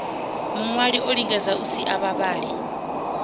muṅwali olingedza u sia vhavhali